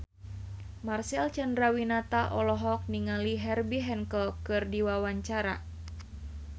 Marcel Chandrawinata olohok ningali Herbie Hancock keur diwawancara